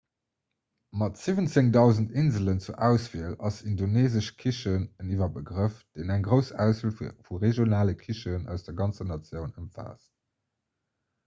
mat 17 000 inselen zur auswiel ass indoneesesch kichen en iwwerbegrëff deen eng grouss auswiel vu regionale kichen aus der ganzer natioun ëmfaasst